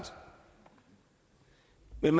jeg